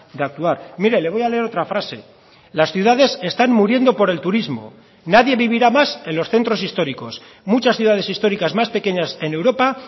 de actuar mire le voy a leer otra frase las ciudades están muriendo por el turismo nadie vivirá más en los centros históricos muchas ciudades históricas más pequeñas en europa